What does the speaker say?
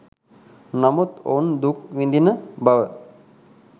නමුත් ඔවුන් දුක් විඳින බව